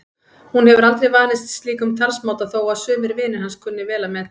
Hún hefur aldrei vanist slíkum talsmáta þó að sumir vinir hans kunni vel að meta.